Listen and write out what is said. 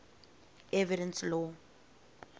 evidence law